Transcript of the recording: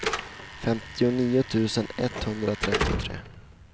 femtionio tusen etthundratrettiotre